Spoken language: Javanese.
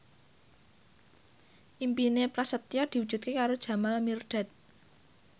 impine Prasetyo diwujudke karo Jamal Mirdad